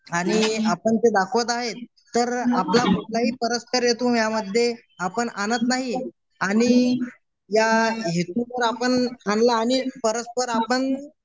आणि आपण ते दाखवत आहे तर आपलं कुठलाही परस्पर हेतू यामध्ये आपण आणत नाही आणि या हेतूवर आपण आणला आणि परस्पर आपण